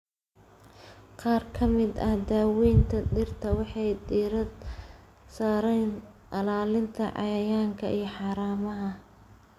Qaar ka mid ah daawaynta dhirta waxay diiradda saaraan ilaalinta cayayaanka iyo haramaha.